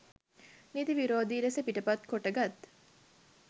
නීති විරෝධී ලෙස පිටපත් කොටගත්